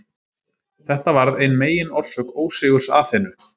Þetta varð ein meginorsök ósigurs Aþenu.